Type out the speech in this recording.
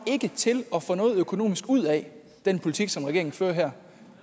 til at få noget økonomisk ud af den politik som regeringen fører her